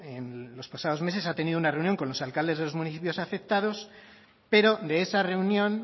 en los pasados meses ha tenido una reunión con los alcaldes de los municipios afectados pero de esa reunión